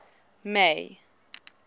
may